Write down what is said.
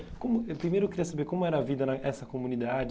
Como, eu primeiro eu queria saber como era a vida na essa comunidade.